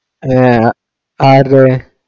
ആഹ് ആരുടെ